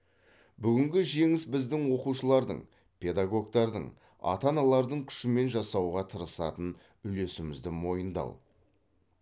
бүгінгі жеңіс біздің оқушылардың педагогтардың ата аналардың күшімен жасауға тырысатын үлесімізді мойындау